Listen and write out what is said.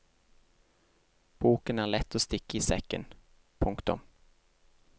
Boken er lett å stikke i sekken. punktum